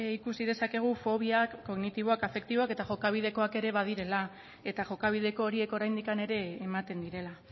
ikusi dezakegu fobiak kognitiboak afektiboak eta jokabideak ere badirela eta jokabideko horiek oraindik ere ematen direla